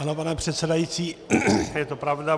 Ano, pane předsedající, je to pravda.